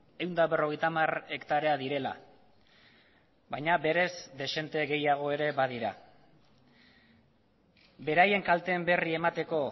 ehun eta berrogeita hamar hektarea direla baina berez dezente gehiago ere badira beraien kalteen berri emateko